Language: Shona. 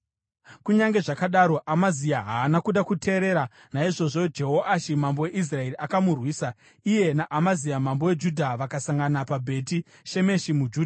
Kunyange zvakadaro, Amazia haana kuda kuteerera, naizvozvo Jehoashi mambo weIsraeri akamurwisa. Iye naAmazia mambo weJudha vakasangana paBheti Shemeshi muJudha.